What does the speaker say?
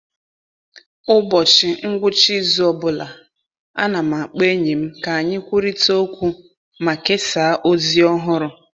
Ụbọchị ngwụcha izu ọ bụla, ana m akpọ enyi m ka anyị kwurịta okwu ma kesaa ozi ọhụrụ.